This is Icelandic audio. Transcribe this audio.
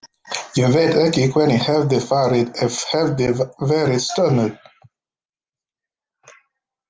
Ég veit ekki hvernig hefði farið ef hefði verið stormur.